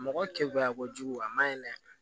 Mɔgɔ kɛkunya kojugu a ma ɲi dɛ